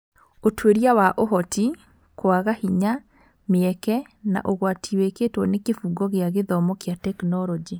Ũtuĩria wa Ũhoti, kwaga hinya, mĩeke, na ũgwati wĩkĩtwo nĩ Kĩbungo kĩa gĩthomo kĩa tekinoronjĩ